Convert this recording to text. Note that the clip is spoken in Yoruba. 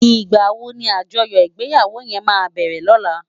Igbáwó ni ájòyò igbèyáwó yèn má bèrè lòlá?